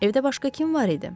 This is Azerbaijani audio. Evdə başqa kim var idi?